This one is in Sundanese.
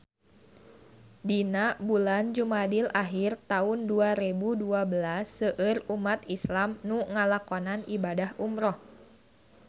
Dina bulan Jumadil ahir taun dua rebu dua belas seueur umat islam nu ngalakonan ibadah umrah